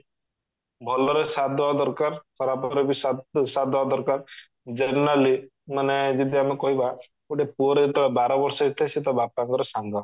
ଭଲରେ ସାଥ ଦବା ଦରକାର ଖରାପରେ ବି ସାଥ ସାଥ ଦବା ଦରକାର generally ମାନେ ଯେମିତି ଆମେ କହିବା ଗୋଟେ ପୁଅର ତ ବାର ବର୍ଷ ତ ସେ ତା ବାପାଙ୍କର ସାଙ୍ଗ